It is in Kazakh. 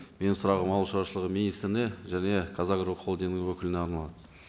менің сұрағым ауыл шаруашылығы министріне және қазагро холдингінің өкіліне арналады